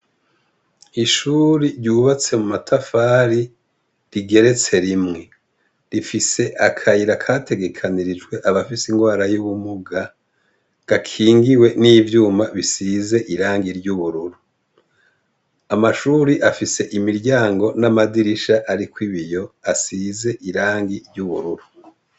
Ishuri ryubatse mumatafari ,rigeretse rimwe. Rifise akayira kategekeranijwe abafise ingwara y’ubumuga , gakingiwe n’ivyuma bisize irangi ry’ubururu . Amashuri afise imiryango n’amadirisha arikw’ibiyo asize irangi ry’ubururu.